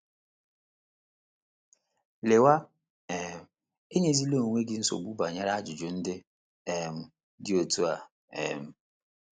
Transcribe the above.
“ Lawa um, enyezila onwe gị nsogbu banyere ajụjụ ndị um dị otú a um! ”